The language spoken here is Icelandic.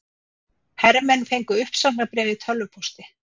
Hermenn fengu uppsagnarbréf í tölvupósti